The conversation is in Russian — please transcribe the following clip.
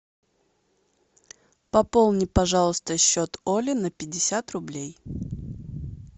пополни пожалуйста счет оли на пятьдесят рублей